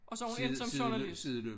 Og så hun endt som journalist